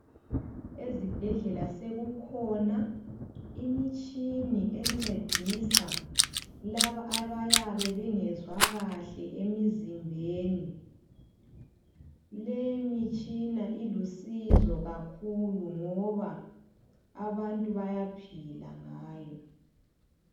Ezibhedlela sekukhona imitshini encedisa labo abayabe bengezwa kahle emizimbeni. Leyi mitshina ilusizo kakhulu ngoba abantu bayaphila ngayo.